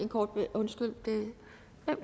undskyld